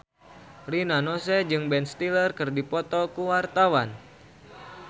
Rina Nose jeung Ben Stiller keur dipoto ku wartawan